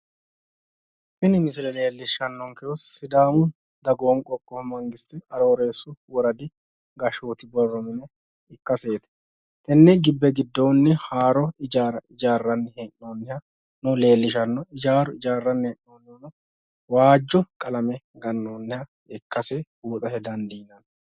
Tini misile leellishshannonkehu sidaamu dagoomi qoqqowi mangiste arooreessu woradi gashshooti borro mine ikkaseeti. Tenne gibbe giddoonni haaro hijaara hijaarranni hee'noonihano leellishanno. Hijaaru hijaarranni hee'noonnihuno waajjo qalame gannoonniha ikkasi buuxate dandiinnoonni.